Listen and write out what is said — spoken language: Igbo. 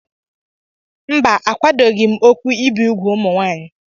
mba, akwadoghị m okwu ibi úgwù ụmụ nwaanyị